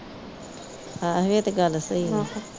ਹਾਂ ਇਹ ਤਾਂ ਗੱਲ ਸਹੀ ਹੈ